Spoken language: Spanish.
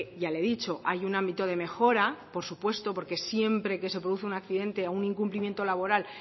ya le he dicho hay un ámbito de mejora por supuesto porque siempre que se produce un accidente o un incumplimiento laboral